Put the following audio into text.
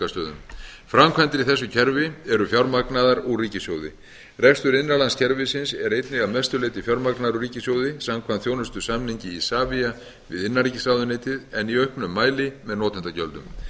framkvæmdir í þessu kerfi eru fjármagnaðar úr ríkissjóði rekstur innanlandskerfisins er einnig að mestu leyti fjármagnaður úr ríkissjóði samkvæmt þjónustusamningi isavia við innanríkisráðuneytið en í auknum mæli með notendagjöldum